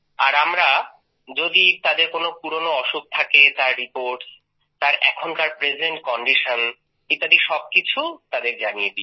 আর আমরা যদি তাদের কোন পুরনো অসুখ থাকে তার রিপোর্টস তার এখনকার প্রেজেন্ট কন্ডিশন ইত্যাদি সবকিছুই তাদের জানিয়ে দি